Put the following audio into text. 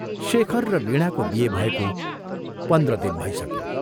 शेखर र वीणाको बिहे भएको पन्ध्र दिन भइसक्यो।